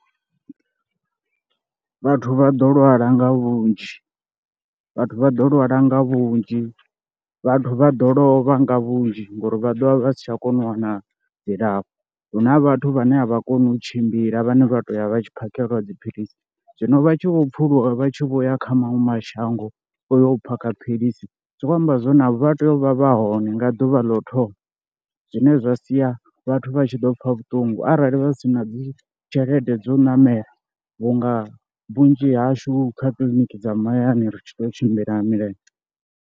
Vhathu vha ḓo lwala nga vhunzhi, vhathu vha ḓo lwala nga vhunzhi, vhathu vha ḓo lovha nga vhunzhi ngori vha ḓovha vha si tsha kona u wana dzilafho, huna vhathu vhane a vha koni u tshimbila vhane vha to ya vha tshi phakheliwa dziphilisi zwino vha tshi vho pfuluswa vha tshi vho ya kha maṅwe mashango uyo phakha philisi. Zwikho amba zwa uri navho vha tea u vha vha hone nga ḓuvha ḽo thoma zwine zwa sia vhathu vha tshi ḓo pfha vhuṱungu arali vha si na dzi tshelede dzo u ṋamela vhunga vhunzhi hashu kha kiḽiniki dza mahayani ri tshi tou tshimbila nga milenzhe.